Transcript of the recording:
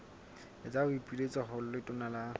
etsa boipiletso ho letona la